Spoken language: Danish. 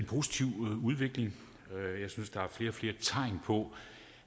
positiv udvikling jeg synes der er flere og flere tegn på